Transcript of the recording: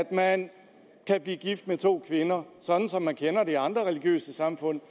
at man kan blive gift med to kvinder sådan som vi kender det fra andre religiøse samfund